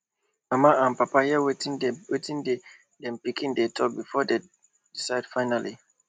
mama and papa hear wetin di wetin di pikin dem talk before dem decide finally